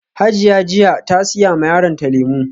Hajiya jiya ta siya ma yaronta lemu